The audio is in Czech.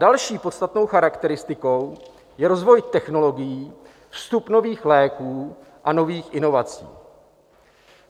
Další podstatnou charakteristikou je rozvoj technologií, vstup nových léků a nových inovací.